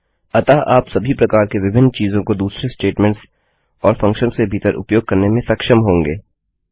अतः आप सभी प्रकार के विभिन्न चीज़ों को दूसरे स्टेटमेंट्स और फंक्शन्स के भीतर उपयोग करने में सक्षम होंगे